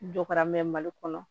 Jɔ kɛra mɛ mali kɔnɔ